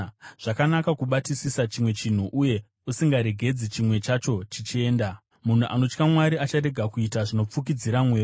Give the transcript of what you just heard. Zvakanaka kubatisisa chimwe chinhu, uye usingaregedzi chimwe chacho chichienda. Munhu anotya Mwari acharega kuita zvinopfurikidza mwero.